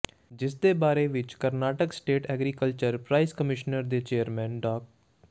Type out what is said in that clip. ਜਿਸਦੇ ਬਾਰੇ ਵਿੱਚ Karnataka state agriculture price commission ਦੇ ਚੇਅਰਮੈਨ ਡਾ